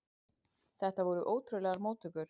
Þetta voru ótrúlegar móttökur.